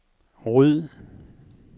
ryd